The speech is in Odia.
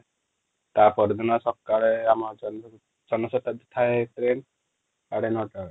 ତାପର ଦିନ ସକାଳେ ଆମ ଜନ ଜନ ଶତାବ୍ଦୀ ଥାଏ ଟ୍ରେନ ସାଢେ ନଅଟା ବେଳେ